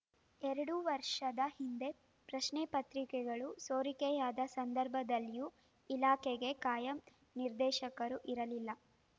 ಎರಡು ವರ್ಷದ ಹಿಂದೆ ಪ್ರಶ್ನೆಪತ್ರಿಕೆಗಳು ಸೋರಿಕೆಯಾದ ಸಂದರ್ಭದಲ್ಲಿಯೂ ಇಲಾಖೆಗೆ ಕಾಯಂ ನಿರ್ದೇಶಕರು ಇರಲಿಲ್ಲ